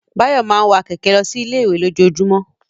Báyọ̀ máa ń wa kẹ̀kẹ́ lọ sí ilé-ìwé lójoojúmọ́.